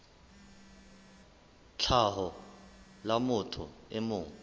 tlhaho la motho e mong